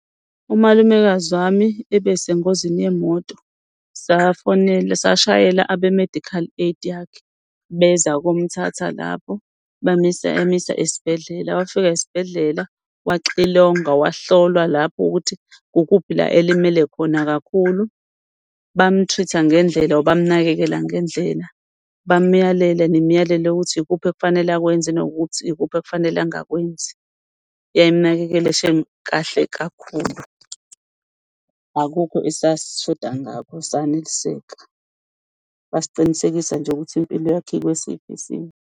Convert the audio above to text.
Umalumekazi wami ebesengozini yemoto safonela, sashayela abe-medical aid yakhe beza komthatha lapho bamisa esibhedlela. Wafika esibhedlela waxilongwa, wahlolwa lapho ukuthi kukuphi la elimele khona kakhulu, bamu-treat-a ngendlela, or bamnakekela ngendlela. Bamyalela nemiyalelo ikuthi ikuphi okufanele akwenze, nokuthi ikuphi okufanele angakwenzi. Yayimnakekela shame kahle kakhulu. Akukho esasishoda ngakho saneliseka, basiqinisekisa nje ukuthi impilo yakhe ikwesiphi isimo.